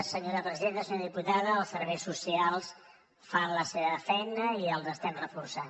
senyor diputada els serveis socials fan la seva feina i els estem reforçant